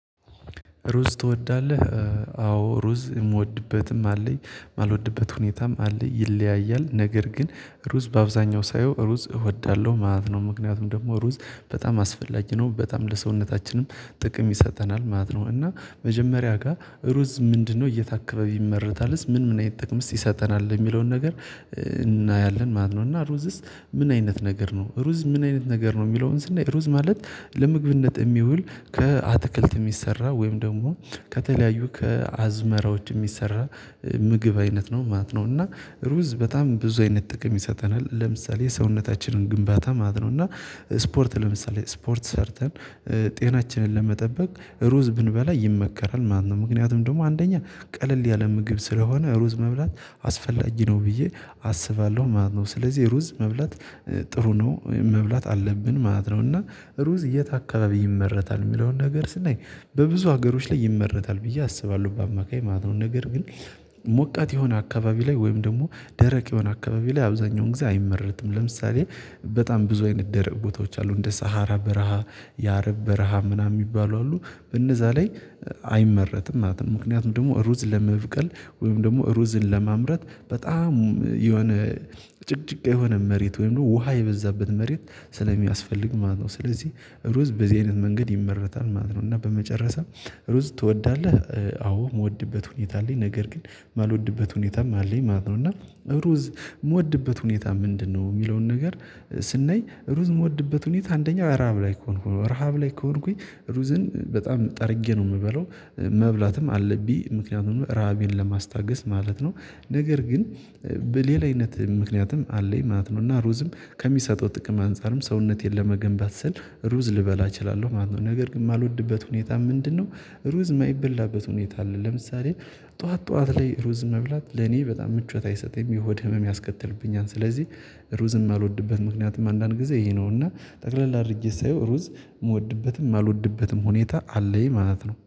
ሩዝ ትወዳለህ? አዎ ሩዝ የምወድበትም አለኝ የማልወድበት ሁኔታም አለኝ ይለያያል ነገር ግን ሩዝ በአብዛኛው ሳየው ሩዝ እወዳለሁ ማለት ነው። ምክንያቱም ደግሞ ሩዝ በጣም አስፈላጊ ነው በጣም ለሰውነታችንም ጥቅም ይሰጠናል ማለት ነው። እና መጀመሪያ ጋር ሩዝ ምንድነው የት አካባቢ ይመረታልስ ምን ምን አይነት ጥቅምስ ይሰጠናል የሚለውን ነገር እናያለን ማለት ነው። እና ሩዝስ ምን አይነት ነገር ነው ሩዝ ምን አይነት ነገር ነው የሚለውን ስናይ ሩዝ ማለት ለምግብነት የሚውል ከአትክልት የሚሰራ ወይም ደግሞ ከተለያዩ ከአዝመራዎች የሚሰራ ምግብ አይነት ነው ማለት ነው። እና ሩዝ በጣም ብዙ አይነት ጥቅም ይሰጠናል ለምሳሌ ሰውነታችንን ግንባታ ማለት ነው እና ስፖርት ለምሳሌ ስፖርት ሰርተን ጤናችንን ለመጠበቅ ሩዝ ብንበላ ይመከራል ማለተ ነው። ምክንያቱም ደግሞ አንደኛ ቀለል ያለ ምግብ ስለሆነ ሩዝ መብላት አስፈላጊ ነው ብዬ አስባለሁ ማለት ነው። ስለዚህ ሩዝ መብላት ጥሩ ነው መብላት አለብን ማለት ነው። እና ሩዝ የት አካባቢ ይመረታል የሚለውን ነገር ስናይ በብዙ ሀገሮች ላይ ይመረታል ብዬ አስባለሁ በአማካይ ማለት ነው። ነገር ግን ሞቃት የሆነ አካባቢ ላይ ወይም ደግሞ ደረቅ የሆነ አካባቢ ላይ አብዛኛውን ጊዜ አይመረትም ለምሳሌ በጣም ብዙ አይነት ደረቅ ቦታዎች አሉ እንደ ሳሃራ በረሃ የአረብ በረሃ ምናምን የሚባሉ አሉ በነዛ ላይ አይመረትም ማለት ነው። ምክንያቱም ደግሞ ሩዝ ለመብቀል ወይም ደግሞ ሩዝን ለማምረት በጣም የሆነ ጭቅጭቅ የሆነ መሬት ወይም ውሃ የበዛበት መሬት ስለሚያስፈልግ ማለት ነው። ስለዚህ ሩዝ በዚህ አይነት መንገድ ይመረታል ማለት ነው። እና በመጨረሻ ሩዝ ትወዳለህ? አዎ የምወድበት ሁኔታ አለኝ ነገር ግን ማልወድበት ሁኔታም አለኝ ማለት ነው። እና ሩዝ የምወድበት ሁኔታ ምንድነው? የሚለውን ነገር ስናይ ሩዝ የምወድበት ሁኔታ አንደኛው ረሃብ ላይ ከሆንኩኝ ረሃብ ላይ ከሆንኩኝ ሩዝን በጣም ጠርጌ ነው የምበለው መብላትም አለብኝ ምክንያቱም ራቤን ለማስታገስ ማለት ነው። ነገር ግን በሌላ አይነት ምክንያትም አለኝ ማለት ነው። እና ሩዝም ከሚሰጠው ጥቅም አንፃርም ሰውነቴን ለመገንባት ስል ሩዝ ልበላ እችላለሁ ማለት ነው። ነገር ግን የማልወድበት ሁኔታ ምንድነው? ሩዝ ማይበላበት ሁኔታ አለ ለምሳሌ ጠዋት ጠዋት ላይ ሩዝ መብላት ለኔ በጣም ምቾት አይሰጠኝም የሆድ ህመም ያስከተልብኛል ስለዚህ ሩዝም አልወድበትም ምክንያቱም አንዳንድ ጊዜ ይሄ ነው። እና ጠቅለል አድርጌ ሳየው ሩዝ የምወድበትም ማልወድበትም ሁኔታ አለኝ ማለት ነው